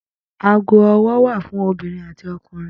Ago ọwọ́ wà fún obìnrin àti ọkùnrin.